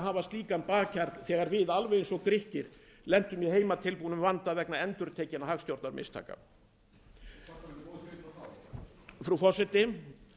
hafa slíkan bakhjarl þegar við alveg eins og grikkir lentum í heimatilbúnum vanda vegna endurtekinna hagstjórnarmistaka þú kvartaðir þá frú forseti